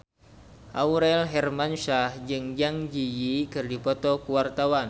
Aurel Hermansyah jeung Zang Zi Yi keur dipoto ku wartawan